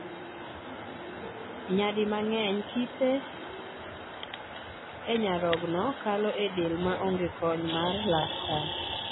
Nyadi mang'eny kite enyarogno kalo edel maonge kony mar laktar.